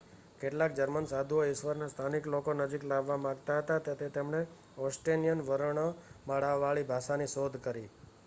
કેટલાક જર્મન સાધુઓ ઈશ્વરને સ્થાનિક લોકોની નજીક લાવવા માગતા હતા તેથી તેમણે એસ્ટોનિયન વર્ણમાળાવાળી ભાષાની શોધ કરી